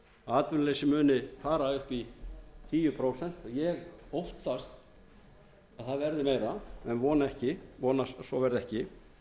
að atvinnuleysi muni fara upp í tíu prósent ég óttast að það verði meira en vonast að svo verði ekki